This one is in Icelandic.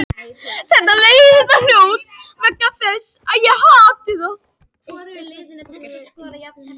Þar af leiðandi er bein mengun vegna eldsneytisbrennslu fraktskipsins mun meiri.